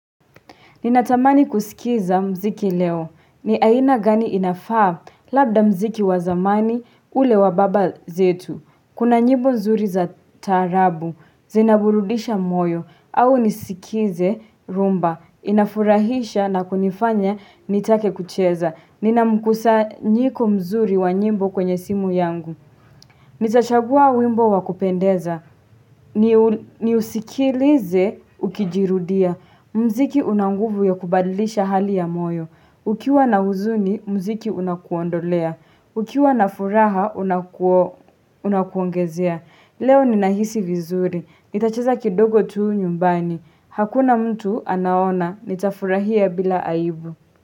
Ninatamani kusikiza muziki leo. Ni aina gani inafaa? Labda muziki wa zamani ule wa baba zetu. Kuna nyimbo nzuri za taarabu, zinaburudisha moyo, au nisikize rhumba. Inafurahisha na kunifanya nitake kucheza. Nina mkusanyiko mzuri wa nyimbo kwenye simu yangu. Nitachagua wimbo wa kupendeza, niusikilize ukijirudia, mziki una nguvu ya kubadilisha hali ya moyo, ukiwa na huzuni muziki unakuondolea, ukiwa na furaha unakuongezea. Leo ninahisi vizuri, nitacheza kidogo tu nyumbani, hakuna mtu anaona, nitafurahia bila aibu.